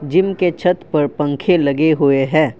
Gym के छत पर पंख लगे हुए हैं।